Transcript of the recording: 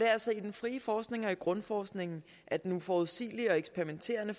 altså i den frie forskning og grundforskningen at den uforudsigelige og eksperimenterende